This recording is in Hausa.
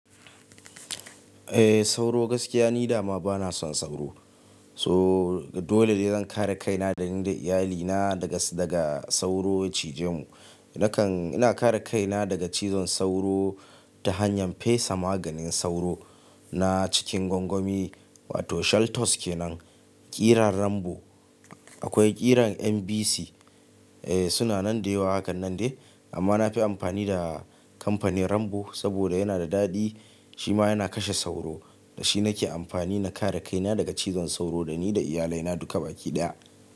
Eh sauro gaskiya ni dama bana son sauro. So dole ne zan kare kaina da ni da iyalina daga, daga sauro cije mu. Nakan-- ina kare kaina daga cizon sauro ta hanyar fesa maganin sauro na cikin gwangwami wato shaltos kenan, ƙiran Rambo. Akwai ƙiran MBC, eh suna nan da yawa hakanan de. Amma na fi amfani da kamfanin Rambo saboda yana da daɗi shi ma yana kashe sauro. Da shi nake amfani na kare kaina daga cizon sauro da ni da iyalai na duka baki ɗaya.